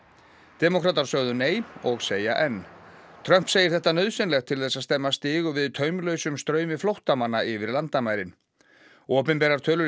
demókratar sögðu nei og segja enn Trump segir þetta nauðsynlegt til þess að stemma stigu við taumlausum straumi flóttamanna yfir landamærin opinberar tölur í